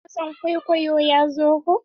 Dan wasan kwaikwayo ya zo ko?